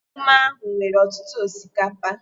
Ememe ahụ nwere ọtụtụ osikapa